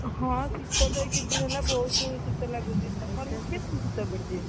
ହଁ, ଶୀତ ତ ଏଇ କିଛି ଦିନ ହେଲା ବୋହୁତ ଶୀତ ଲାଗୁଛି, ତମର ସେଠି କେମିତି ଶୀତ ପଡିଛି ବେ ?